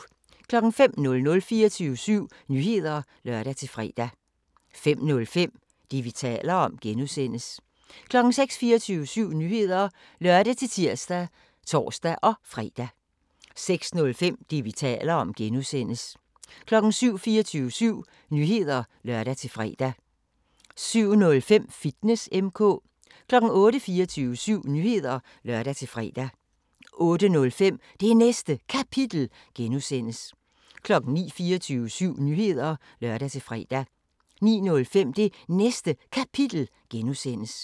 05:00: 24syv Nyheder (lør-fre) 05:05: Det, vi taler om (G) 06:00: 24syv Nyheder (lør-tir og tor-fre) 06:05: Det, vi taler om (G) 07:00: 24syv Nyheder (lør-fre) 07:05: Fitness M/K 08:00: 24syv Nyheder (lør-fre) 08:05: Det Næste Kapitel (G) 09:00: 24syv Nyheder (lør-fre) 09:05: Det Næste Kapitel (G)